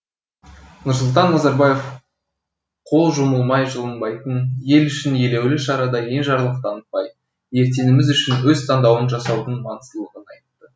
нұрсұлтан назарбаев қол жұмылмай жылынбайтын ел үшін елеулі шарада енжарлық танытпай ертеңіміз үшін өз таңдауын жасаудың маңыздылығын айтты